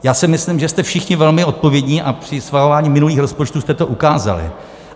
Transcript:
Já si myslím, že jste všichni velmi odpovědní, a při schvalování minulých rozpočtů jste to ukázali.